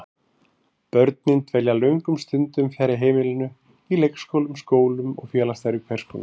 Börnin dvelja löngum stundum fjarri heimilinu, í leikskólum, skólum og félagsstarfi hvers konar.